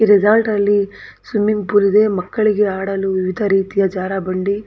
ಈ ರೆಸಾರ್ಟ್ ಲ್ಲಿ swimming pool ಇದೆ ಮಕ್ಕಳಿಗೆ ಆಡಲು ವಿವಿಧ ರೀತಿಯ ಜಾರಬಂಡಿ--